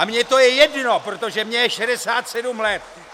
A mně to je jedno, protože mně je 67 let.